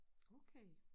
Okay